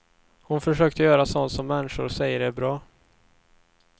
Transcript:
Hon försökte göra sånt som människor säger är bra.